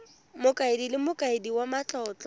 mokaedi le mokaedi wa matlotlo